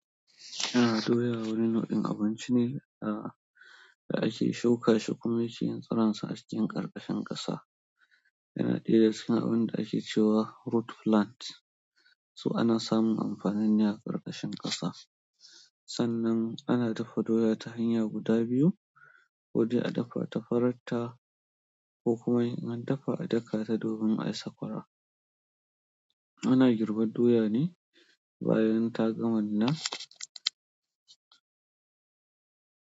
A'a, doya wani nau'in abinci ne aa gashi shukashi kuma shi tsironsa acikin kar kashin ƙasa yana ɗaya su abinda ake cewa root plant su ana samun amfanin ne a ƙarƙashin ƙasa. Sannan ana dafa doya ta hanya guda biyu, ko dai a dafa ta farar ta ko kuma in an dafa a daka ta domin a yi sakwara. Ana girbe doya ne bayan ta gama nuna.